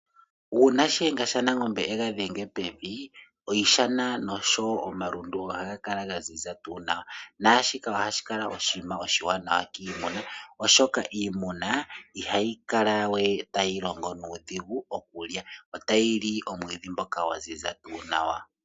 Uuma shiyenga shanangombe ega dhenga pevi iishana noshowo omalundu ohaga kala ga ziza tuu nawa. Naashika ohashi kala oshiwanawa kiimuna oshoka iimuna ihayi kala we tayi longo nuudhigu okulya, otayi li omwiidhi ngoka gwa ziza nawa.